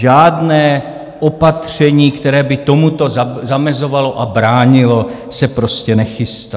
Žádné opatření, které by tomuto zamezovalo a bránilo, se prostě nechystá.